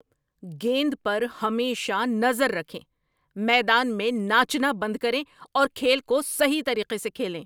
گیند پر ہمیشہ نظر رکھیں! میدان میں ناچنا بند کریں اور کھیل کو صحیح طریقے سے کھیلیں۔